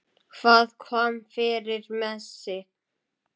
Hvað kom fyrir Messi?